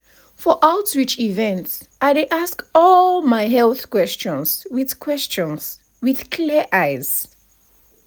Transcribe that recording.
community outreach programs dey programs dey even help bring health education come area.